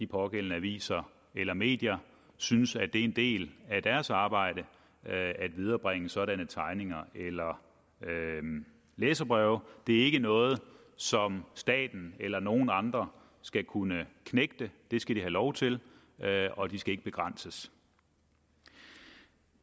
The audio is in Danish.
pågældende aviser eller medier synes at det er en del af deres arbejde at viderebringe sådanne tegninger eller læserbreve det er ikke noget som staten eller nogen andre skal kunne knægte det skal de have lov til og de skal ikke begrænses